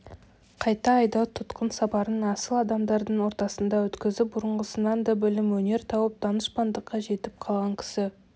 қайта айдау тұтқын сапарын асыл адамдардың ортасында өткізіп бұрынғысынан да білім өнер тауып данышпандыққа жетіп қалған кісі